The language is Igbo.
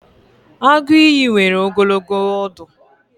Agụ ìyì nwere ogologo ọdụ.